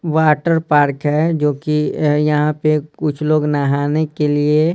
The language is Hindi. वाटर पार्क है जोकि यहाँ पे कुछ लोग नहाने के लिए--